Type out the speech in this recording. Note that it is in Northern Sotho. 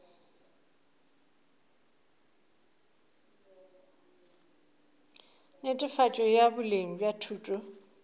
netefatšo ya boleng bja thuto